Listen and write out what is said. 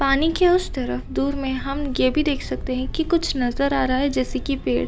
पानी की उस तरफ दूर में हम यह भी देख सकते हैं की कुछ नज़र आ रहा है जैसे की पेड़।